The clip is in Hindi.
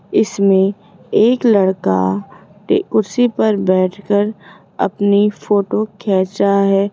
इसमें एक लड़का टे कुर्सी पर बैठकर अपनी फोटो खेंच रहा है।